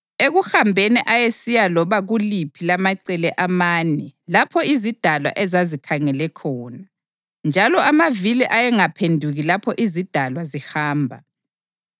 Ekuhambeni, ayesiya loba kuliphi lamacele amane lapho izidalwa ezazikhangele khona, njalo amavili ayengaphenduki lapho izidalwa zihamba.